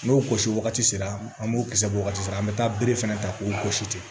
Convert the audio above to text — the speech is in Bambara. N'o gosi wagati sera an b'o kisɛ bɔ wagati la an bɛ taa bere fɛnɛ ta k'o gosi ten